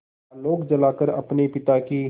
आलोक जलाकर अपने पिता की